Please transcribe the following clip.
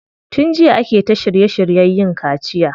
Tun jiya ake ta shirye shiryen yin kaciya.